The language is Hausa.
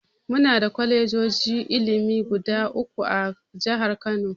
Muna da kwalejojin ilimi guda uku a jihar Kano.